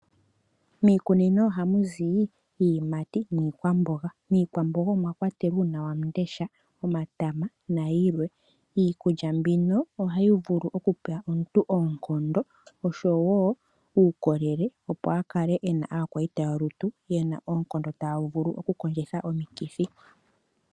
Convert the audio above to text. Miikunino ohamuzi iiyimati niikwamboga. Iikwamboga omwa kwatelwa uuna wamundesha, omatama nayilwe . Iikulya mbino ohayi vulu okupa omuntu oonkondo oshowo uukolele opo akale ena aakwayita yolutu yena oonkondo taya vulu oku kondjitha omikithi.